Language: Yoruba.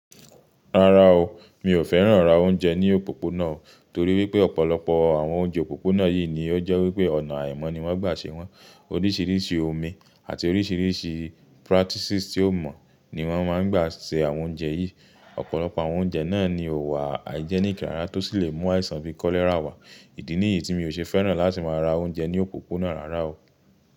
Rárá o, mi ò fẹ́ràn rà oúnjẹ ní òpópónà nítorí wípé ọ̀pọ̀lọpọ̀ àwọn oúnjẹ òpópónà yìí ni ó jẹ́ wípé ọ̀nà àìmọ̀ ni wọ́n gbà ṣe wọ́n. Oríṣiríṣi omi àti oríṣiríṣi practices tí ò mọ̀ ni wọ́n máa ń gbà ṣe àwọn oúnjẹ yìí. Ọ̀pọ̀lọpọ̀ àwọn oúnjẹ náà ni ò wà hygienic rárá tó sì lè mú àìsàn bíi cholera wá. Ìdí nìyí tí mi ò ṣe fẹ́ràn láti máa ra oúnjẹ ní òpópónà rárá o.